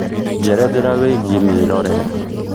njerethera wĩigie mĩrorere